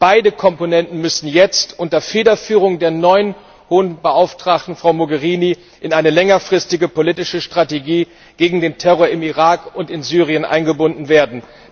Beide Komponenten müssen jetzt unter Federführung der neuen Hohen Beauftragten Mogherini in eine längerfristige politische Strategie gegen den Terror im Irak und in Syrien eingebunden werden.